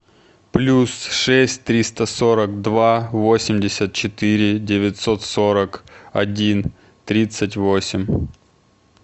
плюс шесть триста сорок два восемьдесят четыре девятьсот сорок один тридцать восемь